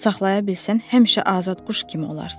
Saxlaya bilsən, həmişə azad quş kimi olarsan.